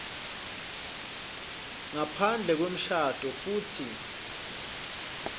ngaphandle kwemshado futsi